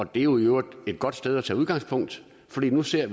det er jo i øvrigt et godt sted at tage udgangspunkt fordi vi nu ser